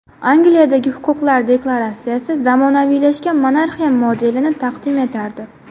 Angliyadagi Huquqlar deklaratsiyasi zamonaviylashgan monarxiya modelini taqdim etardi.